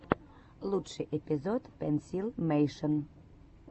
лучший эпизод пенсилмэйшен